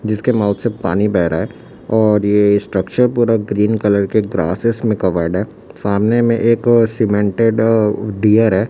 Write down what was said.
जिसके माउथ से पानी बह रहा है और ये स्ट्रक्चर पूरा ग्रीन कलर के ग्रासेस में कवर्ड है सामने में एक सीमेंटेड डियर है।